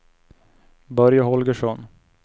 Börje Holgersson